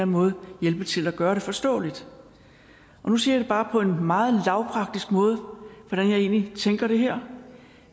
måde hjælpe til at gøre det forståeligt nu siger jeg bare på en meget lavpraktisk måde hvordan jeg egentlig tænker om det her